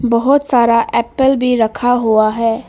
बहुत सारा एप्पल भी रखा हुआ है।